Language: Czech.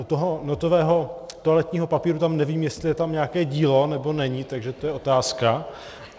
U toho notového toaletního papíru tam nevím, jestli je tam nějaké dílo, nebo není, takže to je otázka.